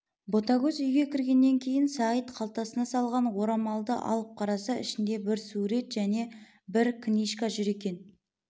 ботагөз үйге кіргеннен кейін сағит қалтасына салған орамалды алып қараса ішінде бір сурет және бір книжка жүр екен